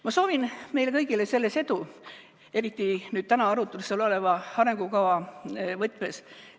Ma soovin meile kõigile selles edu, eriti täna arutlusel oleva arengukava võtmes.